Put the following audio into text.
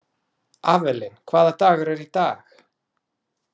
Avelin, hvaða dagur er í dag?